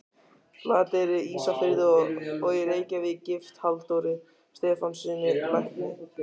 Flateyri, Ísafirði og í Reykjavík, gift Halldóri Stefánssyni lækni.